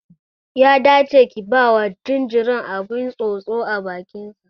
Ya dace ki bawa jaririn abin tsotso a bakin sa